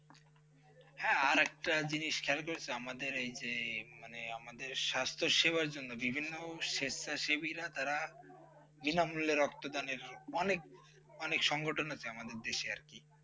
হ্যাঁ আর একটা জিনিস খেয়াল করেছো মানে আমাদের এই যে আমাদের স্বাস্থ্য সেবার জন্য বিভিন্ন স্বেচ্ছাসেবীরা তারা বিন মূল্যে রক্তদানর অনেক মনের সংগঠন আছে আমাদের দেশে আর কি